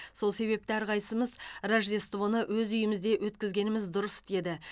сол себепті әрқайсысымыз рождествоны өз үйімізде өткізгеніміз дұрыс деді